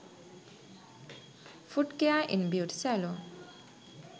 foot care in beauty saloon